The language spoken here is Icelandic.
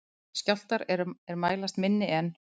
Skjálftar er mælast minni en